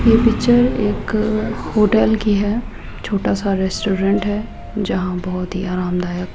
ये पिक्चर एक होटल की है छोटा सा रेस्टोरेंट है जहां बहोत ही आरामदायक --